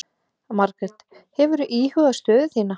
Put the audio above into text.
Margrét: Hefurðu íhugað stöðu þína?